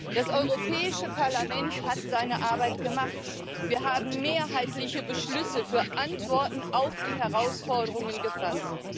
Das Europäische Parlament hat seine Arbeit gemacht, wir haben mehrheitliche Beschlüsse für Antworten auf die Herausforderungen gefasst.